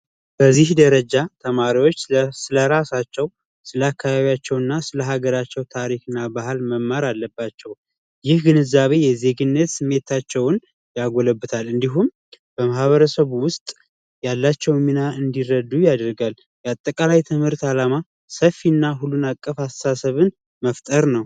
በዚህ ደረጃ ተማሪዎች ስለ ራሳቸውና ስለ ሀገራቸው ታሪክና ባህል መማር አለባቸው ይህ ግንዛቤ የዜግነት ስሜታቸውን ያጎለበታል እንዲሁም በማህበረሰብ ውስጥ ያላቸው እንዲረዱ ያደርጋል ትምህርት ዓላማ ሰፊና ሁሉን አቀፍ አስተሳሰብን መፍጠር ነው